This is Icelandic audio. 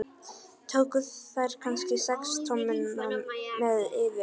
Tókuð þér kannski sex tommuna með yður?